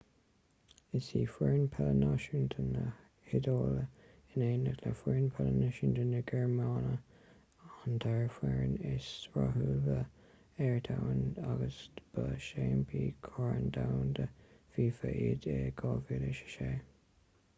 is í foireann peile náisiúnta na hiodáile in éineacht le foireann peile náisiúnta na gearmáine an dara foireann is rathúla ar domhan agus ba seaimpíní chorn domhanda fifa iad i 2006